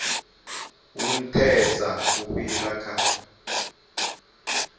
hu nthesa u fhira kha